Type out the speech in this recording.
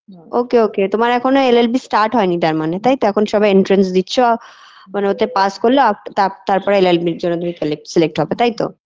ok ok তোমার এখনো llb start হয়নি তার মানে তাইতো এখন সবে entrance দিচ্ছ মানে ওতে pass করলে আফ তা তারপরে llb -এর জন্য তুমি কলেক select হবে তাইতো